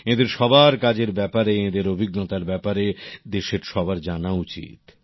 এঁদের সবার কাজের ব্যাপারে এঁদের অভিজ্ঞতার ব্যাপারে দেশের সবার জানা উচিত